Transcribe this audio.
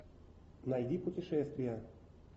найди путешествия